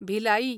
Bhilai